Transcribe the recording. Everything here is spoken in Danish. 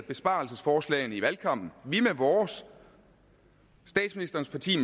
besparelsesforslagene under valgkampen vi med vores statsministerens parti